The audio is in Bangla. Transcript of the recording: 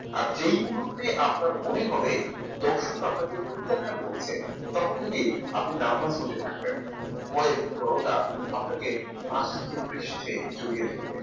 আর জেই মুহূর্তে আপনার মনে হবে দর্শক আপনাকে প্রত্যাখ্যান করছে তখন থেকে আপনি nervous হতে থাকবেন। ভয় এবং জনতা আপনাকে আসতে পৃষ্টে জড়িয়ে ধরবে